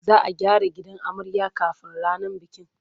Za a gyara gidan amarya kafin ranar bikin.